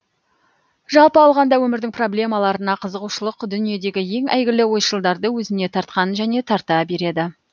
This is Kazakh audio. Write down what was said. жалпы алғанда өмірдің проблемаларына қызығушылық дүниедегі ең әйгілі ойшылдарды өзіне тартқан және тарта береді